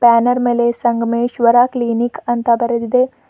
Banner ಮೇಲೆ Sangameshwara clinic ಅಂತ ಬರೆದಿದೆ.